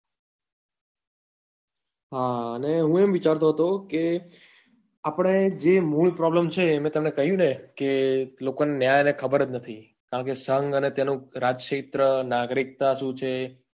હા અને હું એમ વિચારતો હતો કે આપડે જે મૂળ problem છે તે મેં તમને કહ્યું ને કે લોકો ને ન્યાય ખબર જ નથી કારણ કે સંઘ અને તેનું રાજ ક્ષેત્ર નાગરિકતા શું છે